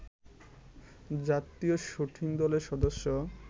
জাতীয় শুটিং দলের সদস্য